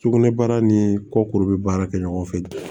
Sugunɛbara ni kɔkuru bɛ baara kɛ ɲɔgɔn fɛ